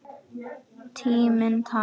Og tíminn talar.